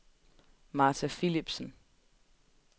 Martha Philipsen